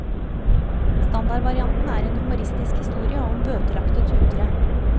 Standardvarianten er en humoristisk historie om bøtelagte tutere.